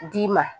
D'i ma